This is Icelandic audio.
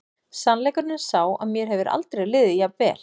Sannleikurinn er sá að mér hefur aldrei liðið jafn vel.